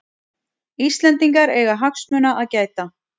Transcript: Íslendingar eiga hagsmuna að gæta